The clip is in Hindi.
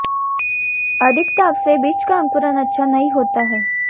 अधिक ताप से बीज का अंकुरण अच्छा नहीं होता है